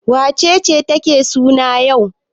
Wace ce take suna yau?